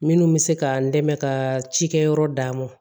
Minnu bɛ se ka n dɛmɛ ka cikɛyɔrɔ d'a ma